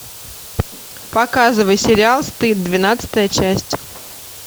показывай сериал стыд двенадцатая часть